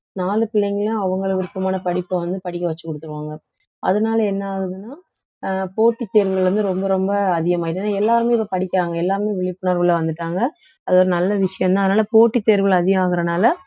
நாலு பிள்ளைங்களும் அவங்களை விருப்பமான படிப்பை வந்து படிக்க வச்சு குடுத்துருவாங்க அதனால என்ன ஆகுதுன்னா அஹ் போட்டித் தேர்வுகள் வந்து ரொம்ப ரொம்ப அதிகமாயிடும் ஏன்னா எல்லாருமே இதை படிக்கிறாங்க எல்லாருமே விழிப்புணர்விலே வந்துட்டாங்க அது ஒரு நல்ல விஷயம்தான் அதனாலே போட்டித் தேர்வுகள் அதிகம் ஆகறதுனாலே